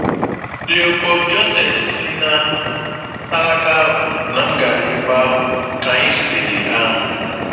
Léopold Jontès si na alaka ahụ na m gara ebe ahụ ka anyị zutere ha.